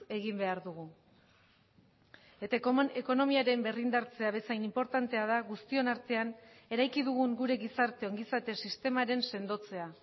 egin behar dugu eta ekonomiaren berrindartzea bezain inportantea da guztion artean eraiki dugun gure gizarte ongizate sistemaren sendotzea